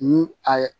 Ni a ye